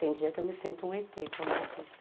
Tem dia que eu me sinto um êtê, como eu disse.